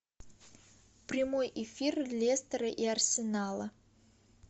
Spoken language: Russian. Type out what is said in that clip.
прямой эфир лестера и арсенала